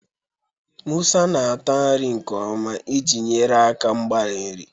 Musa na-ata nri nke ọma iji nyere aka mgbari nri.